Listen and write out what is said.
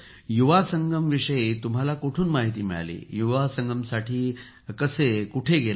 युवा संगमविषयी तुम्हाला कुठून माहिती मिळाली युवा संगमसाठी कसे कोठे गेला